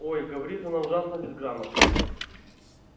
ой говорит она ужасно безграмотно